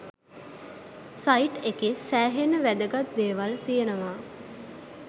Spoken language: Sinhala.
සයිට් එකේ සෑහෙන්න වැදගත් දේවල් තියෙනවා